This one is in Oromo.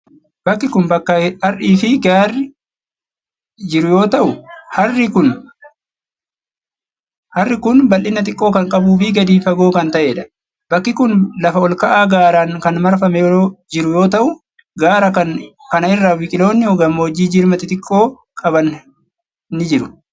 Bakki kun, bakka har'ii fi gaarri jiru yoo ta'u, harri kun bal'ina xiqqoo kan qabuu fi gadi fagoo kan ta'ee dha. Bakki kun lafa ol ka'aa gaaran kan marfamee jiru yoo ta'u. gaara kana irra biqiloonni gammoojjii jirma xixiqqoo qaban qaban ni jiru.